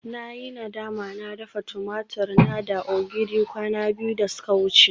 Na yi nadama na dafa tumatur na da ogiri kwana biyu da suka wuce